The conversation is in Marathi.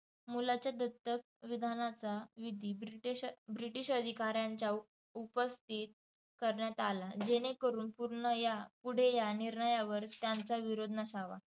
मुलाच्या दत्तकविधानाचा विधी ब्रिटिश ब्रिटिश अधिकाऱ्यांच्या उपस्थितीत करण्यात आला. जेणे करून पूर्ण या पुढे या निर्णयावर त्यांचा विरोध नसावा.